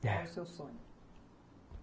Qual o seu sonho?